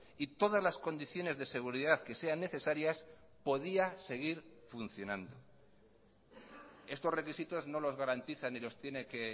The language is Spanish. y todas las condiciones de seguridad que sean necesarias podía seguir funcionando estos requisitos no los garantizan ni los tiene que